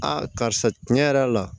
karisa tiɲɛ yɛrɛ la